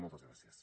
moltes gràcies